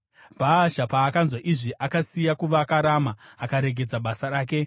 Bhaasha paakanzwa izvi, akasiya kuvaka Rama akaregedza basa rake.